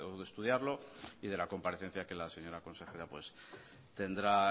de estudiarlo y de la comparecencia que la señora consejera tendrá